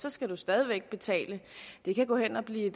så skal man stadig væk betale det kan gå hen og blive